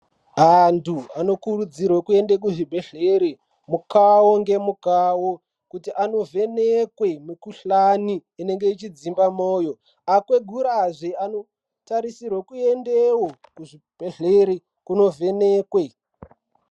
Anthu anokurudzirwe kuende kuzvibhedhlere mukao ngemukao kuti andovhenekwe mukuhlani inenge ichidzimba moyo akwegura zve anotarisirwe kuendeo kuzvibhedhlere kunovhenekwe.